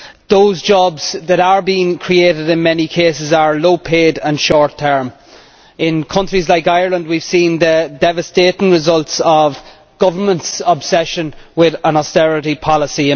Those jobs that are being created are, in many cases, low paid and short term. In countries like Ireland we have seen the devastating results of a government's obsession with austerity policy.